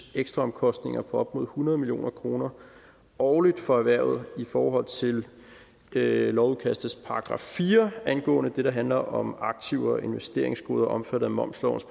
ekstraomkostninger på op hundrede million kroner årligt for erhvervet i forhold til lovudkastets § fire angående det der handler om aktiver og investeringsgoder omfattet af momslovens